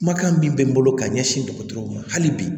Kumakan min bɛ n bolo ka ɲɛsin dɔgɔtɔrɔw ma hali bi